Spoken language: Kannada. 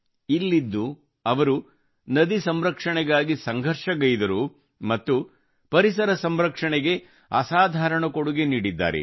ಇಲ್ಲಿದ್ದು ಅವರು ನದಿ ಸಂರಕ್ಷಣೆಗಾಗಿ ಸಂಘರ್ಷಗೈದರು ಮತ್ತು ಪರಿಸರ ಸಂರಕ್ಷಣೆಗೆ ಅಸಾಧಾರಣ ಕೊಡುಗೆ ನೀಡಿದ್ದಾರೆ